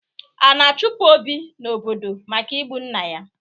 A na-achụpụ Obi n'obodo maka igbu nna ya.